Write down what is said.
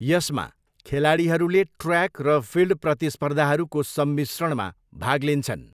यसमा, खेलाडीहरूले ट्र्याक र फिल्ड प्रतिस्पर्धाहरूको सम्मिश्रणमा भाग लिन्छन्।